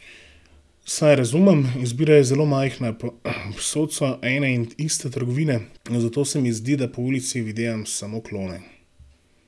Saj razumem, izbira je zelo majhna, povsod so ene in iste trgovine, zato se mi zdi, da po ulici videvam samo klone.